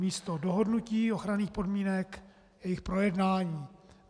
Namísto dohodnutí ochranných podmínek jejich projednání.